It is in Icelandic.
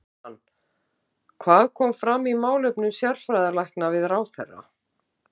Jóhann, hvað kom fram í málefnum sérfræðilækna við ráðherra?